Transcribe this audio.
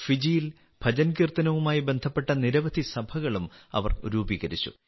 ഫിജിയിൽ ഭജൻകീർത്തനവുമായി ബന്ധപ്പെട്ട നിരവധി സഭകളും അവർ രൂപീകരിച്ചു